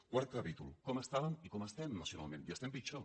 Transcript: quart capítol com estàvem i com estem nacionalment i estem pitjor